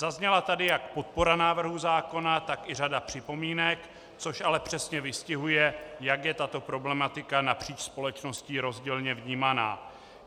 Zazněla tady jak podpora návrhu zákona, tak i řada připomínek, což ale přesně vystihuje, jak je tato problematika napříč společností rozdílně vnímána.